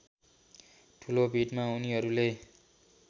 ठूलो भीडमा उनीहरुले